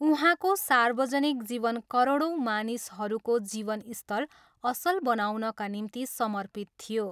उहाँको सार्वजनिक जीवन करोडौँ मानिसहरूको जीवन स्तर असल बनाउनका निम्ति समर्पित थियो।